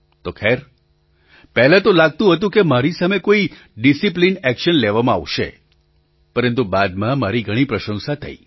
તો ખેર પહેલાં તો લાગતું હતું કે મારી સામે કોઈ ડિસિપ્લિન એક્શન લેવામાં આવશે પરંતુ બાદમાં મારી ઘણી પ્રશંસા થઈ